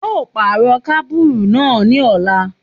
A yóò pàrọ̀ kábùrù náà ní ọ̀la.